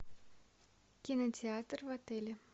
кинотеатр в отеле